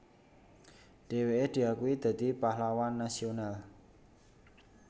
Dheweke diakui dadi Pahlawan Nasional